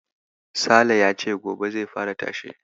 Sale ya ce gobe zai fara tashe.